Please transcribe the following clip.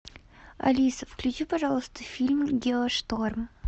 алиса включи пожалуйста фильм геошторм